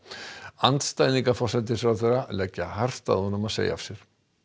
andstæðingar forsætisráðherrans leggja hart að honum að segja af sér